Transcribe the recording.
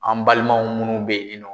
An balimaw minnu bɛyienɔ.